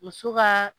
Muso ka